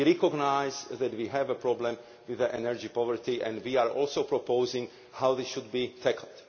We recognise that we have a problem with energy poverty, and we are also proposing how this should be tackled.